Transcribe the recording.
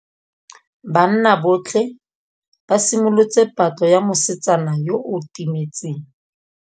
Banna botlhê ba simolotse patlô ya mosetsana yo o timetseng.